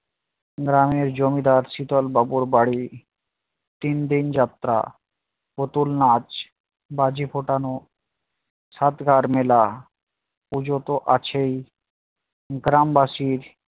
গ্রামের জমিদার শীতল বাবুর বাড়ি তিনদিন যাত্রা, পুতুল নাচ, বাজি ফোটানো, সাতগার মেলা, পূজো তো আছেই গ্রামবাসীর